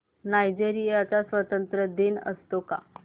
Nigeria चा स्वातंत्र्य दिन असतो का